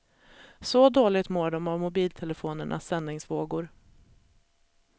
Så dåligt mår de av mobiltelefonernas sändningsvågor.